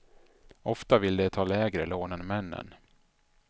Ofta vill de ta lägre lån än männen.